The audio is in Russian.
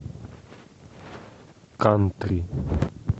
кантри